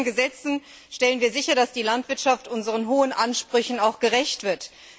Mit vielen Gesetzen stellen wir sicher, dass die Landwirtschaft unseren hohen Ansprüchen auch gerecht wird.